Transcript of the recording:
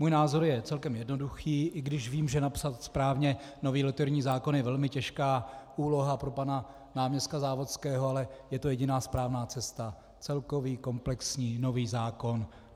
Můj názor je celkem jednoduchý, i když vím, že napsat správně nový loterijní zákon je velmi těžká úloha pro pana náměstka Závodského, ale je to jediná správná cesta - celkový komplexní nový zákon.